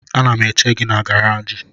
Ana m eche gị na garaji